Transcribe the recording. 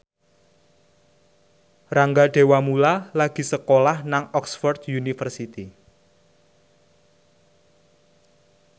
Rangga Dewamoela lagi sekolah nang Oxford university